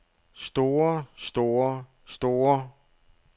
store store store